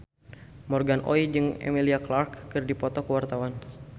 Morgan Oey jeung Emilia Clarke keur dipoto ku wartawan